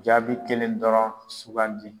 Jaabi kelen dɔrɔn sugandi.